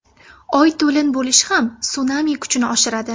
Oy to‘lin bo‘lishi ham sunami kuchini oshiradi.